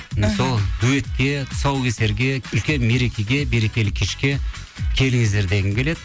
сол дуэтке тұсаукесерге үлкен мерекеге берекелі кешке келіңіздер дегім келеді